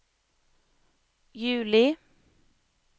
juli